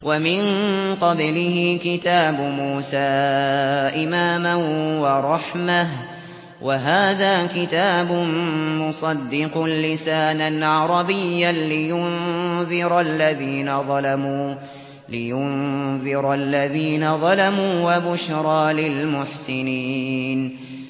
وَمِن قَبْلِهِ كِتَابُ مُوسَىٰ إِمَامًا وَرَحْمَةً ۚ وَهَٰذَا كِتَابٌ مُّصَدِّقٌ لِّسَانًا عَرَبِيًّا لِّيُنذِرَ الَّذِينَ ظَلَمُوا وَبُشْرَىٰ لِلْمُحْسِنِينَ